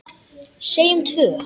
Segjum tvö.